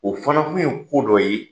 O fana kun ye ko dɔ ye